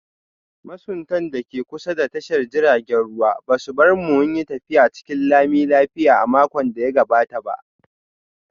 Masuntan da ke kusa da tashar jiragen ruwa ba su bar mu mu yi tafiya cikin lami lafiya a makon da ya gabata ba